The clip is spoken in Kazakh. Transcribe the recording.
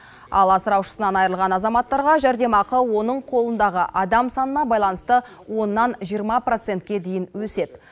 ал асыраушысынан айырылған азаматтарға жәрдемақы оның қолындағы адам санына байланысты оннан жиырма процентке дейін өседі